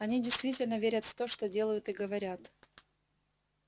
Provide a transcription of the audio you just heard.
они действительно верят в то что делают и говорят